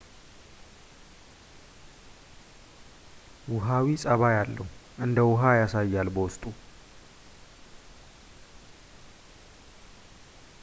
ውሃዊ ጸባይ አለው እንደውሃ ያሳያል በውስጡ